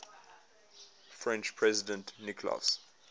french president nicolas